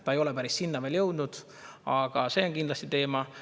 See ei ole päris sinna veel jõudnud, aga see on kindlasti teema.